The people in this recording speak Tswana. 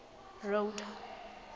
road